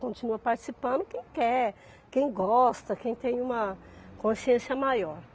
Continua participando quem quer, quem gosta, quem tem uma consciência maior.